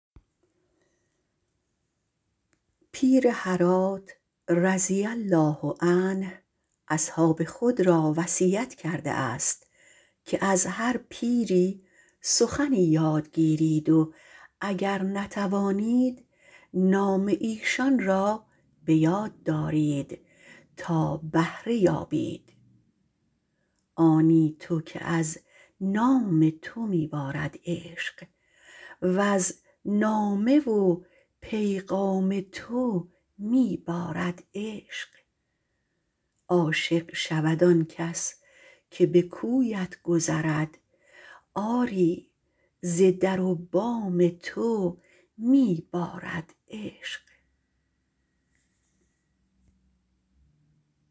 پیر هرات - رضی الله عنه - اصحاب خود را وصیت کرده است که از هر پیری سخنی یاد گیرید و اگر نتوانید نام ایشان را به یاد دارید تا بهره یابید آنی تو که از نام تو می بارد عشق وز نامه و پیغام تو می بارد عشق عاشق گردد هر که به کویت گذرد آری ز در و بام تو می بارد عشق